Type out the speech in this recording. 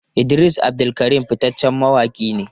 Idris Abdulkarim fitaccen mawaki ne.